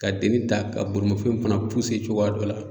Ka deni ta ka bolimafɛn fana cogoya dɔ la.